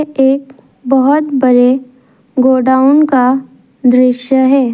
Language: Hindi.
एक बहुत बड़े गोडाउन का दृश्य है।